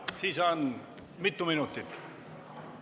Kui mitu minutit?